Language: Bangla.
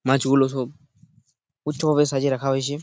উচ্ছ ভাবে সাজিয়ে রাখা হয়েছে।